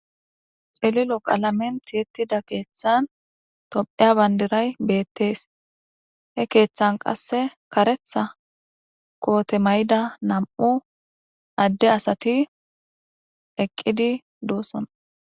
Xililo qalamentiyettida keeththan topheya bandiray beettees he keeththan qasse karetha koote mayida nam7u adde asati eqqidi duusson.